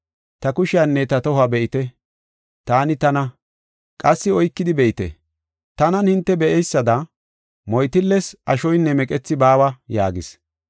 Ta kushiyanne ta tohuwa be7ite; taani tana. Qassi oykidi be7ite; tanan hinte be7eysada, moytilles ashoynne meqethi baawa” yaagis.